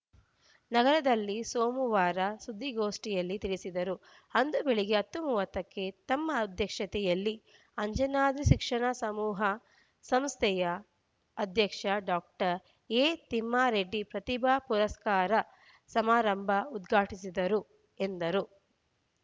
ನಗರದಲ್ಲಿ ಸೋಮವಾರ ಸುದ್ದಿಗೋಷ್ಠಿಯಲ್ಲಿ ತಿಳಿಸಿದರು ಅಂದು ಬೆಳಗ್ಗೆ ಹತ್ತು ಮೂವತ್ತ ಕ್ಕೆ ತಮ್ಮ ಅಧ್ಯಕ್ಷತೆಯಲ್ಲಿ ಅಂಜನಾದ್ರಿ ಶಿಕ್ಷಣ ಸಮೂಹ ಸಂಸ್ಥೆಯ ಅಧ್ಯಕ್ಷ ಡಾಕ್ಟರ್ ಎತಿಮ್ಮಾರೆಡ್ಡಿ ಪ್ರತಿಭಾ ಪುರಸ್ಕಾರ ಸಮಾರಂಭ ಉದ್ಘಾಟಿಸಿದರು ಎಂದರು